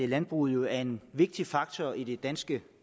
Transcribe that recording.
landbruget jo er en vigtig faktor i det danske